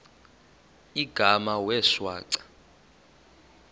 igama wee shwaca